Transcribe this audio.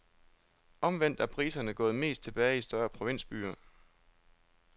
Omvendt er priserne gået mest tilbage i større provinsbyer.